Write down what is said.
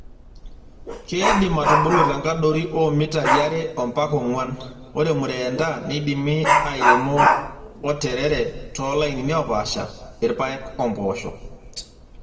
Keidim atubulu tenkadori oo mitai are ompaka ong'uan. Ore murendaa neidimi airemo onterere (too lainini oopasha),irpaek wempoosho.